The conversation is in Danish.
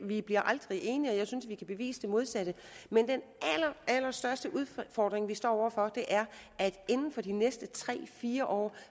vi bliver aldrig enige og jeg synes at vi kan bevise det modsatte men den allerstørste udfordring vi står over for er at vi inden for de næste tre fire år